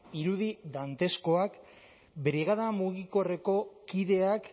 irudi danteskoak brigada mugikorreko kideak